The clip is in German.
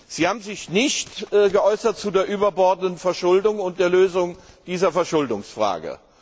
Sie haben sich nicht geäußert zu der überbordenden Verschuldung und der Lösung dieser Verschuldungsfrage.